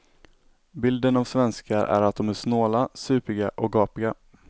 Bilden av svenskar är att de är snåla, supiga och gapiga.